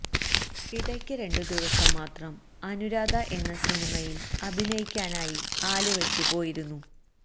ഇടയ്ക്ക് രണ്ടു ദിവസം മാത്രം അനുരാധ എന്ന സിനിമയില് അഭിനയിക്കാനായി ആലുവയ്ക്ക് പോയിരുന്നു